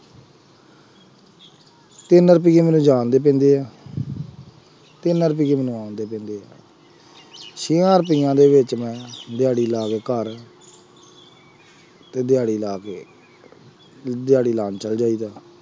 ਤਿੰਨ ਰੁਪਈਏ ਮੈਨੂੰ ਜਾਣ ਦੇ ਪੈਂਦੇ ਆ ਤਿੰਨ ਰੁਪਈਏ ਮੈਨੂੰ ਆਉਣ ਦੇ ਪੈਂਦੇ ਆ ਛੇਆਂ ਰੁਪਇਆ ਦੇ ਵਿੱਚ ਮੈਂ ਦਿਹਾੜੀ ਲਾ ਕੇ ਘਰ ਅਤੇ ਦਿਹਾੜੀ ਲਾ ਕੇ ਤੁਸੀਂ ਦਿਹਾੜੀ ਲਾ ਨਹੀਂ ਸਕਦੇ ਅੱਜਕੱਲ੍ਹ,